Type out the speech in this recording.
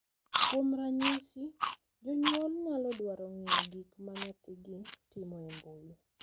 Kuom ranyisi, jonyuol nyalo dwaro ng’iyo gik ma nyathigi timo e mbui